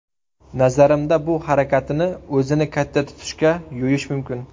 Nazarimda, bu harakatini o‘zini katta tutishga yo‘yish mumkin.